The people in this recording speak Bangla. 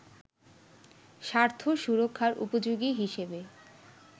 স্বার্থ সুরক্ষার উপযোগী হিসেবে